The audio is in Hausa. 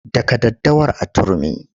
Daka daddawar a turmi!